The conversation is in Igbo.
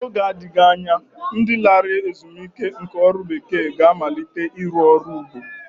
N'oge na-adịghị anya, ndi lara ezumike nká ọrụ bekee ga-amalite ịrụ ọrụ ugbo